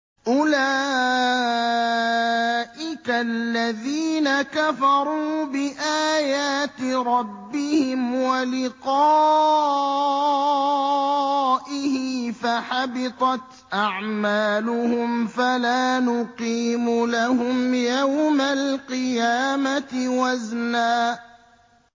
أُولَٰئِكَ الَّذِينَ كَفَرُوا بِآيَاتِ رَبِّهِمْ وَلِقَائِهِ فَحَبِطَتْ أَعْمَالُهُمْ فَلَا نُقِيمُ لَهُمْ يَوْمَ الْقِيَامَةِ وَزْنًا